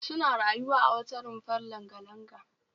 Suna rayuwa a wata rumfar langa-langa